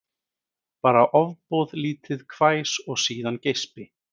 Bara ofboðlítið hvæs og síðan geispi